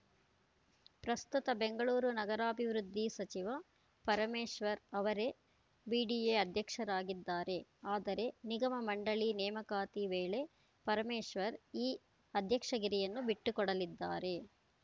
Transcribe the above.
ಪ್ರಸ್ತುತ ಬೆಂಗಳೂರ ನಗರಾಭಿವೃದ್ಧಿ ಸಚಿವ ಪರಮೇಶ್ವರ್‌ ಅವರೇ ಬಿಡಿಎ ಅಧ್ಯಕ್ಷರಾಗಿದ್ದಾರೆ ಆದರೆ ನಿಗಮ ಮಂಡಳಿ ನೇಮಕಾತಿ ವೇಳೆ ಪರಮೇಶ್ವರ್‌ ಈ ಅಧ್ಯಕ್ಷಗಿರಿಯನ್ನು ಬಿಟ್ಟುಕೊಡಲಿದ್ದಾರೆ